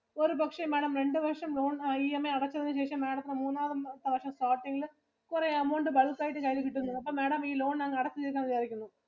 ഒരു പക്ഷെ Madam രണ്ടു വർഷം loan EMI അടച്ചതിനു ശേഷം madam ത്തിനു മൂന്നാമത് കുറെ amount bulk ആയിട്ട് കയ്യില് കിട്ടുന്നത് അപ്പം Madam ഈ loan അങ്ങ് അടച്ചു തീർക്കാം എന്ന് വിചാരിക്കുന്നു.